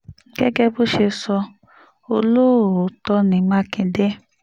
gẹ́gẹ́ bó ṣe sọ olóòótọ́ ní mákindé